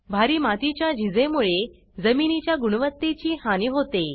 भारी मातीच्या झिजे मुळे जमिनीच्या गुणवत्तेची हानी होते